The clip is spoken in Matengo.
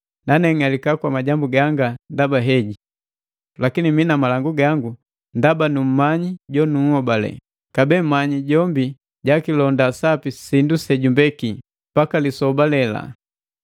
nane ng'alika kwa majambu ganga ndaba heji. Lakini mii na malangu gango ndaba nummanyi jola, jonunhobale, kabee manya jombi jakilonda sapi sindu sejumbeki, mpaka lisoba lela.